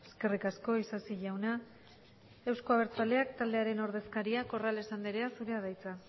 eskerrik asko isasi jauna euzko abertzaleak taldearen ordezkariak corrales anderea zurea da hitza